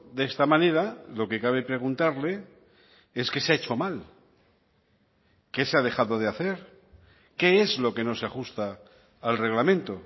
de esta manera lo que cabe preguntarle es qué se ha hecho mal qué se ha dejado de hacer qué es lo que no se ajusta al reglamento